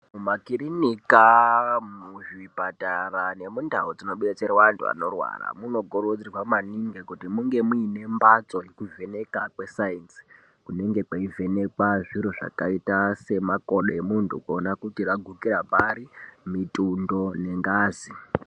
Makirinika muzvipatara nemundau dzinobetserwa antu anorwara munokurudzirwa maningi kuti munge muine mhatso ye kuvheneka kwesainzi kunenge kweivhenekwa zviro zvakaita semakodo kuonekwe kuti ragukire pari mitundo nengazi.